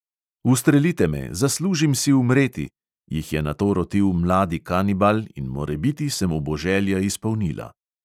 "Ustrelite me, zaslužim si umreti," jih je nato rotil mladi kanibal in morebiti se mu bo želja izpolnila.